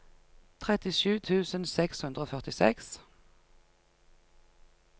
trettisju tusen seks hundre og førtiseks